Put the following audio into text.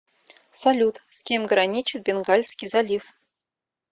салют с кем граничит бенгальский залив